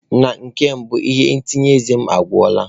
Na nke mbụ, ihe ntacha eze m agwụla.